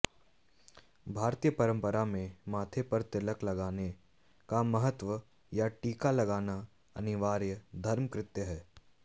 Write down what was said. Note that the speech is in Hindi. भारतीय परंपरा में माथे पर तिलक लगाने का महत्व या टीका लगाना अनिवार्य धर्मकृत्य है